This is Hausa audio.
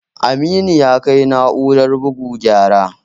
Aminu ya kai na'urar bugu gyara